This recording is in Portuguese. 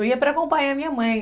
Eu ia para acompanhar a minha mãe.